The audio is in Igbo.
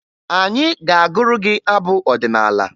Anyị ga-agụrụ gị abụ ọdịnaala